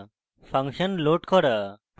function load করা